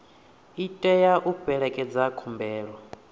i tea u fhelekedza khumbelo